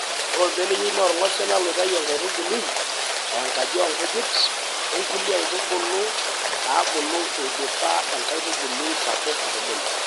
Ore orbeneyio naa orng`osila loitayu enkaitubului ( enkaji oo nkujit) o nkulieaitubul naabulu eidipa enkaitubui sapuk atupuku.